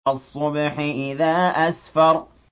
وَالصُّبْحِ إِذَا أَسْفَرَ